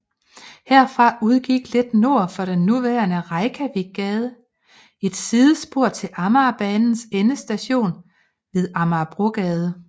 Herfra udgik lidt nord for den nuværende Reykjavikgade et sidespor til Amagerbanens endestation ved Amagerbrogade